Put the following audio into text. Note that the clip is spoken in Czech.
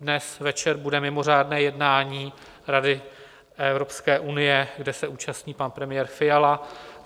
Dnes večer bude mimořádné jednání Rady Evropské unie, kde se účastní pan premiér Fiala.